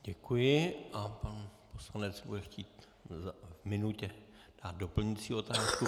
Děkuji a pan poslanec bude chtít v minutě dát doplňující otázku.